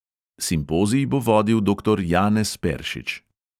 Simpozij bo vodil doktor janez peršič.